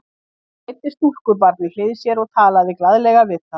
Hún leiddi stúlkubarn við hlið sér og talaði glaðlega við það.